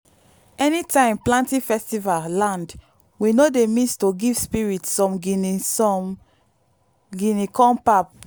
anytime planting festival land we no dey miss to give spirits some guinea some guinea corn pap.